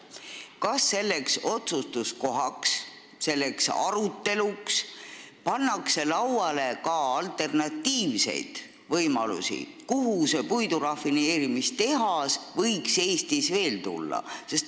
Kas selleks ajaks tuleb arutelu alla ka alternatiivseid võimalusi, kuhu see puidurafineerimistehas võiks Eestis veel tulla?